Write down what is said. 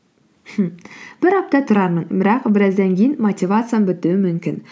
мхм бір апта тұрамын бірақ біраздан кейін мотивациям бітуі мүмкін